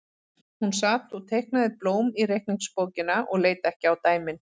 Hún sat og teiknaði blóm í reikningsbókina og leit ekki á dæmin.